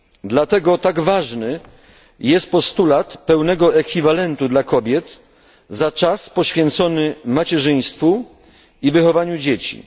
Dlatego tak ważny jest postulat pełnego ekwiwalentu dla kobiet za czas poświęcony macierzyństwu i wychowaniu dzieci.